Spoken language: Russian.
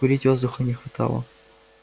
курить воздуха не хватало